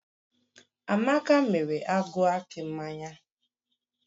Amaka mere agụ akị mmanya